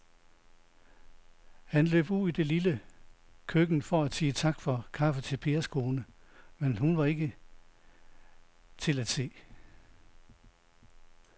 Han løb ud i det lille køkken for at sige tak for kaffe til Pers kone, men hun var ikke til at se.